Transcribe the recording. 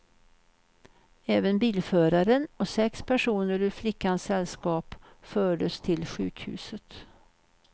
Även bilföraren och sex personer ur flickans sällskap fördes till sjukhuset.